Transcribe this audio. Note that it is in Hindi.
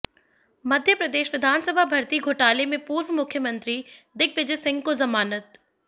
मध्य प्रदेश विधानसभा भर्ती घोटाले में पूर्व मुख्यमंत्री दिग्विजय सिंह को जमानत